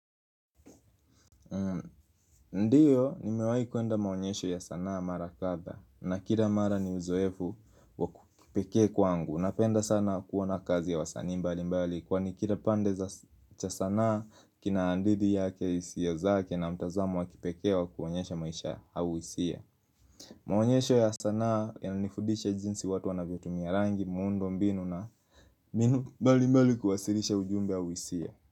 Ndiyo, nimewai kuenda maonyesho ya sanaa mara kadhaa na kila mara ni uzoefu wa kipekee kwangu Napenda sana kuona kazi ya wasani mbali mbali Kwa ni kila pande za sanaa kina hadithi yake isio zake na mtazamu wakipeke wa kuonyesha maisha au isia Maonyesho ya sanaa yananifudisha jinsi watu wanavyotumia rangi Mundo mbinu na minu mbali mbali kuwasirisha ujumbe au hisia.